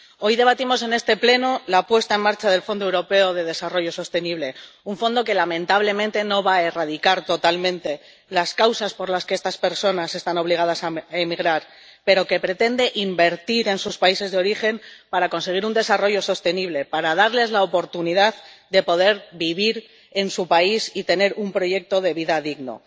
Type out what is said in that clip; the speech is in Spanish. Hoy debatimos en este Pleno la puesta en marcha del Fondo Europeo de Desarrollo Sostenible, un fondo que, lamentablemente, no va a erradicar totalmente las causas por las que estas personas están obligadas a emigrar, pero que pretende invertir en sus países de origen para conseguir un desarrollo sostenible, para darles la oportunidad de poder vivir en su país y tener un proyecto de vida digno.